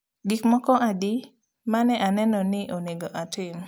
Gik moko adi ma ne aneno ni onego atim